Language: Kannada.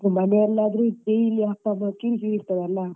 ಮನೇಲಿ ಆದ್ರೆ daily ಅಪ್ಪಂದು ಕಿರಿ ಕಿರಿ ಇರ್ತದೆ ಅಲ.